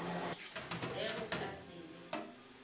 ge go ka se be